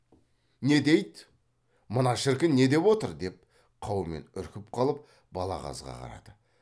не дейді мына шіркін не деп отыр деп қаумен үркіп қалып балағазға қарады